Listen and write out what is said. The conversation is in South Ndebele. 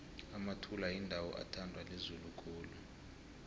emathula yindawo ethandwa lizulu khulu